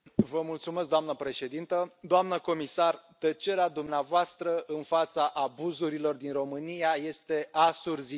Doamnă președintă, doamnă comisar, tăcerea dumneavoastră în fața abuzurilor din România este asurzitoare.